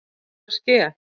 Hvað er að ske!